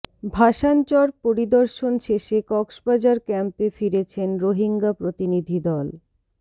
ভাসানচর পরিদর্শন শেষে কক্সবাজার ক্যাম্পে ফিরেছেন রোহিঙ্গা প্রতিনিধি দল